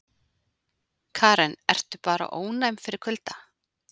Karen: Ertu bara ónæm fyrir kulda?